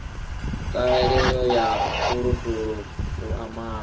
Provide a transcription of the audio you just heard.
ṱhahelelo ya fulufulu u amara